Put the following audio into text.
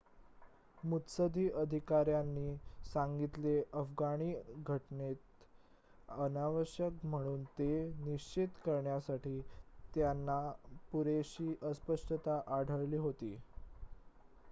मुत्सद्दी अधिकाऱ्यांनी सांगितले अफगाणी घटनेत अनावश्यक म्हणून ते निश्चित करण्यासाठी त्यांना पुरेशी अस्पष्टता आढळली होती